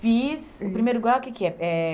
Fiz o primeiro grau, o que que é? É